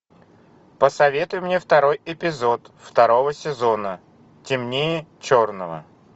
посоветуй мне второй эпизод второго сезона темнее черного